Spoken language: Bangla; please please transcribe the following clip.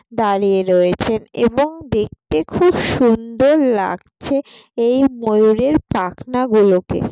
দাঁড়িয়ে রয়েছেন এবং দেখতে খুব সুন্দর লাগছে । এই ময়ূরের পাখনা গুলোকে ।